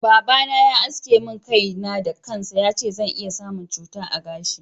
Baba na Yana aske min kai na da kansa, yace zan iya samun cuta a gashi.